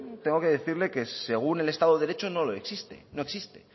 tengo que decirle que según el estado de derecho no existe existe